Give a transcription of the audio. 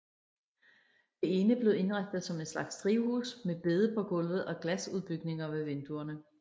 Det ene blev indrettet som en slags drivhus med bede på gulvet og glasudbygninger ved vinduerne